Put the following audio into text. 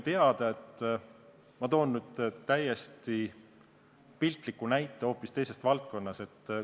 Ma toon piltliku näite hoopis teisest valdkonnast.